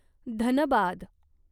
Dhanbad